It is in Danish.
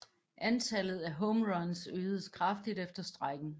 Antallet af home runs øgedes kraftigt efter strejken